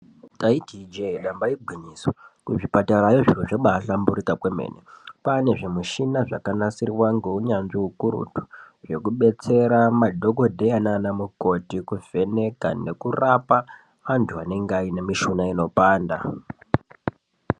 Taiti ijee ,damba igwinyiso, kuzvipatarayo zviro zvabaahlamburika kwemene. Kwaane zvimushina zvakanasirwa ngounyanzvi ukurutu, zvekubetsera madhokodheya naanamukoti ,kuvheneka nekurapa, antu anenga aine mishuna inopanda.